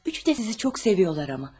Üçü də sizi çox sevirler ama.